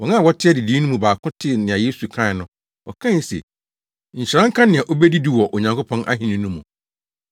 Wɔn a wɔte adidii no mu baako tee nea Yesu kae no; ɔkae se, “Nhyira nka nea obedidi wɔ Onyankopɔn ahenni no mu.”